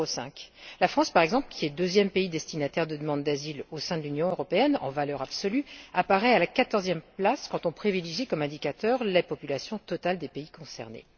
0,5. La France, par exemple, qui est le deuxième pays destinataire de demandes d'asile au sein de l'Union européenne, en valeur absolue, apparaît à la quatorzième place, quand on privilégie comme indicateur la population totale des pays concernés.